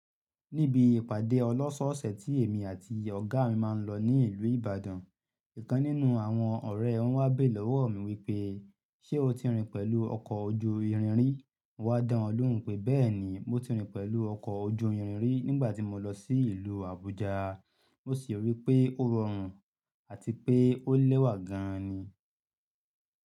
Níbi ìpàdé ọlọ́ṣọ̀ọ̀sẹ̀ tí èmi àti Ọ̀gá mi máa ń lọ ní ìlú Ìbàdàn, ìkan nínú àwọn ọ̀rẹ́ won wa bére lọ́wọ́ mi wípé, "Ṣé o ti rìn pẹ̀lú ọkọ̀ ojú irin rí?" Mo wá dá ọ lóhùn pé, "Bẹ́ẹ̀ni, mo ti rìn pẹ̀lú ọkọ̀ ojú irin rí nígbà tí mo lọ sí ìlú Àbújá, mo sì rí pé ó rọrùn àti pé ó lẹ́wà gan-an ni."